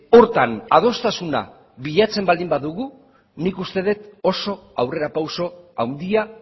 horretan adostasuna bilatzen baldin badugu nik uste dut oso aurrera pauso handia